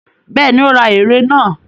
Bẹ́ẹ̀ni, ó ra ère náà.